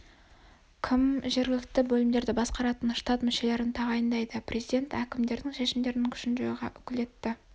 кім жергілікті бөлімдерді басқаратын штат мүшелерін тағайындайды президент әкімдердің шешімдерінің күшін жоюға укілетті